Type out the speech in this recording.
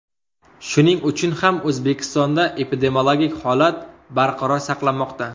Shuning uchun ham O‘zbekistonda epidemiologik holat barqaror saqlanmoqda.